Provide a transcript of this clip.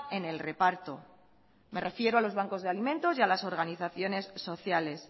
en el reparto me refiero a los bancos de alimentos y a las organizaciones sociales